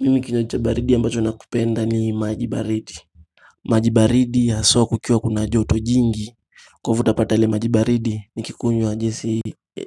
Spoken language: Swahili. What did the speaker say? Mimi kinyaji cha baridi anbacho nakipenda ni maji baridi. Maji baridi ya soko kukiwa kuna joto jingi. Kwa hivyo utapata ile maji baridi nikikunywa jinsi